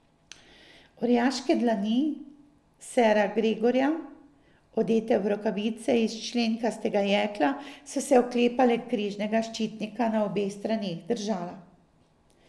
Orjaške dlani sera Gregorja, odete v rokavice iz členkastega jekla, so se oklepale križnega ščitnika na obeh straneh držala.